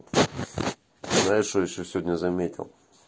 знаешь что ещё сегодня заметил